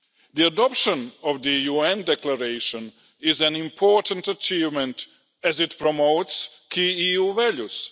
The adoption of the UN Declaration is an important achievement, as it promotes key EU values.